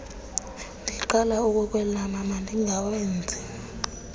ndiqala ukukwelama mandingawenzi